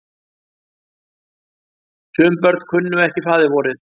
Sum börn kunnu ekki faðirvorið.